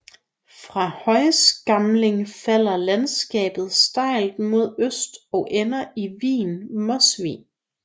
Fra Højskamling falder landskabet stejlt mod øst og ender i vigen Mosvig